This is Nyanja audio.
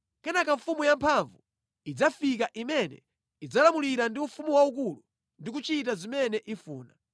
Kenaka mfumu yamphamvu idzafika imene idzalamulira ndi ufumu waukulu ndi kuchita zimene ifuna.